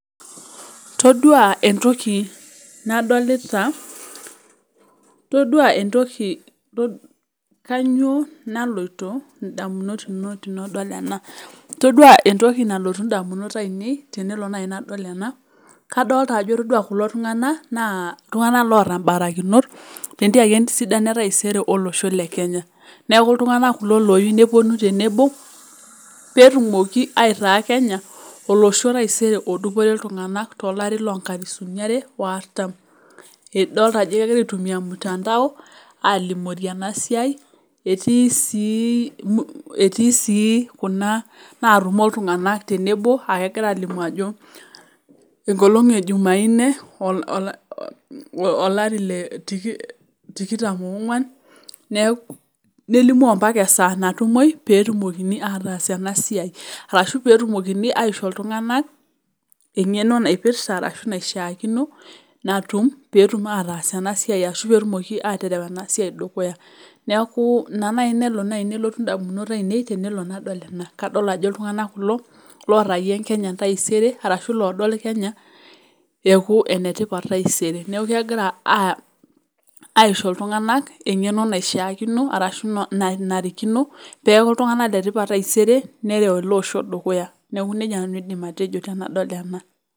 Todua entoki nadolita kanyio naloto ndamunot ino tenidol ena todua entoki nalotu ndamunot ainei tenelo nai nadol ena kadolta ajo ore kulo tung'anak na ltunganak oota mbarakinot tesiai entaisere olosho lekenya neaky ltung'anak kulo oyieu neponu tenebo peitaa kenya olosho odupore ltung'anak tolari lonkalifuni aare waartan idolta qjo egira aitumia ormutandao alimunye enasiai etii si kuna natumo ltung'anak tenebo akegira alimu ajo enkolong ejumaa ine olari le tikitam onguan nelimu mbaka esaa natumoi petumokini ataas enasiai arashu petumokini aisho iltunganak engeno naipirta ashu naishaakino natum oetum ataas enasiai ashu petumoki awaita enasiai dukuya neaku ina nai nelo nalotu ndamunot ainei adol ajo ltung'anak kulo ootayie kenya entaisere arashu lodol kenye eaku enetipat taisere neaku kegira aisho ltunganak engeno arashu nanarikino peaku ltunga'nak letipat taisere nerik eloosho dukuya neaku nejia nanu aidim atejo tanadol ena.